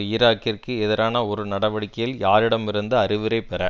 ஈராக்கிற்கு எதிரான ஒரு நடவடிக்கையில் யாரிடமிருந்து அறிவுரை பெற